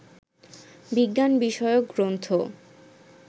বিজ্ঞান বিষয়ক গ্রন্থ